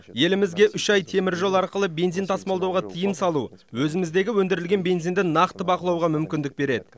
елімізге үш ай теміржол арқылы бензин тасымалдауға тыйым салу өзіміздегі өндірілген бензинді нақты бақылауға мүмкіндік береді